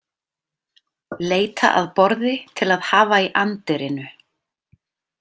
Leita að borði til að hafa í anddyrinu.